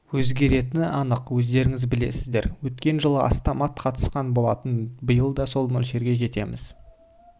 өзгеретіні анық өздеріңіз білесіздер өткен жылы астам ат қатысқан болатын биыл да сол мөлшерге жетеміз